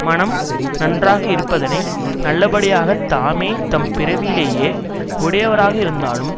மனம் நன்றாக இருப்பதனை நல்லபடியாகத் தாமே தம் பிறவியிலேயே உடையவராக இருந்தாலும்